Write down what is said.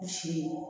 Si